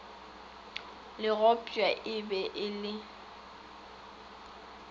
le gopšwa e be le